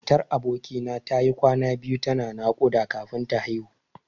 Matar aboki na tayi kwana biyu tana naƙuda kafin ta haihu.